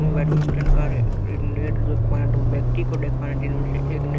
badminton का रे net जो खोया दो व्यक्ति को देख पा रहे जिनमें से एक ने--